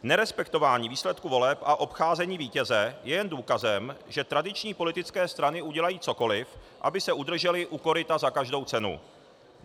Nerespektování výsledků voleb a obcházení vítěze je jen důkazem, že tradiční politické strany udělají cokoli, aby se udržely u koryta za každou cenu.